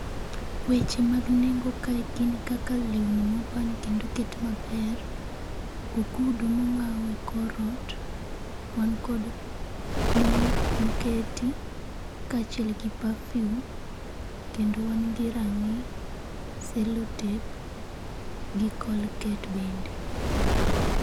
Weche mag nengo kae gin kaka lewni moban kendo oket maber, ogudu mong'aw e korot, wan kod mo moketi, kaachiel gi pafium, kendo wan gi rang'i, selotep, gi colgate bende